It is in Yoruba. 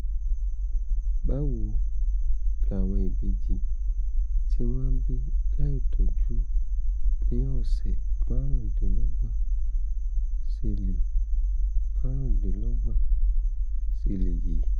báwo làwọn ìbejì tí wọ́n bí láìtọ́jọ́ ní ọ̀sẹ̀ márùndínlọ́gbọ̀n ṣe lè márùndínlọ́gbọ̀n ṣe lè yè?